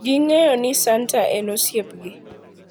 Ging`eyo ni santa en osiepgi.